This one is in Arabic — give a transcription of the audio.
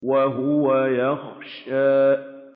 وَهُوَ يَخْشَىٰ